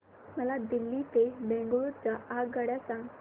मला दिल्ली ते बंगळूरू च्या आगगाडया सांगा